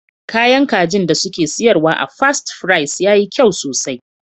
Kayan kajin da suke siyarwa a Fast Fries yayi kyau sosai.